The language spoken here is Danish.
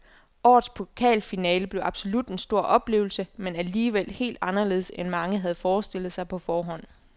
Årets pokalfinale blev absolut en stor oplevelse, men alligevel helt anderledes end mange havde forestillet sig på forhånd.